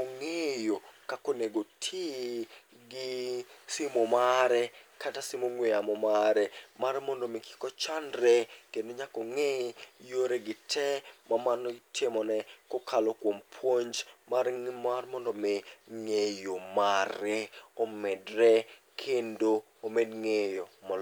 ong'eyo kakonego ti gi simu mare kata sim ong'we yamo mare. Mar mondo mi kik ochandre kendo nyakong'e yoregi te, ma mano itimone kokalo kuom puonj mar mondo mi ng'eyo mare omedre kendo omed ng'eyo molo.